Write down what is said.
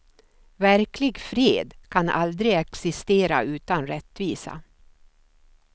Verklig fred kan aldrig existera utan rättvisa.